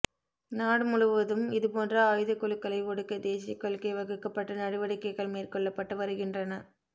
நாடு முழுவதும் இதுபோன்ற ஆயுதக் குழுக்களை ஒடுக்க தேசியக் கொள்கை வகுக்கப்பட்டு நடவடிக்கைகள் மேற்கொள்ளப்பட்டு வருகின்றன